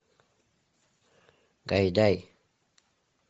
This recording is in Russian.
гайдай